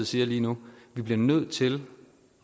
siger lige nu vi bliver nødt til